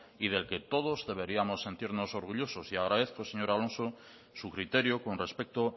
y del que todos deberíamos sentirnos orgullosos y agradezco señor alonso su criterio con respecto